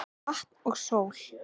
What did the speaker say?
Vatn og sól